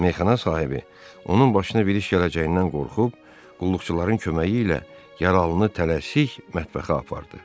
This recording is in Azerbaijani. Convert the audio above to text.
Meyxana sahibi onun başına bir iş gələcəyindən qorxub qulluqçuların köməyi ilə yaralını tələsik mətbəxə apardı.